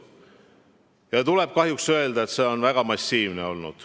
Ja tuleb kahjuks öelda, et see on olnud väga massiivne.